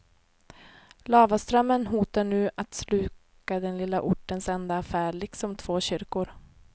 Lavaströmmen hotar nu att sluka den lilla ortens enda affär liksom två kyrkor.